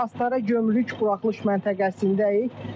Biz Astara gömrük buraxılış məntəqəsindəyik.